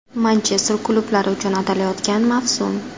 Manchester klublari uchun atalayotgan mavsum.